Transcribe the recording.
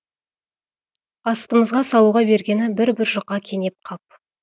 астымызға салуға бергені бір бір жұқа кенеп қап